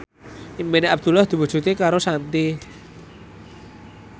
impine Abdullah diwujudke karo Shanti